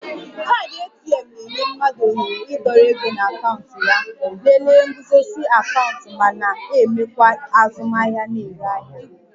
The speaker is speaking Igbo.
Kaadị ATM na-enye mmadụ ohere ịdọrọ ego na akaụntụ ya, lelee nguzozi akaụntụ ma na-emekwa azụmahịa na-ere ahịa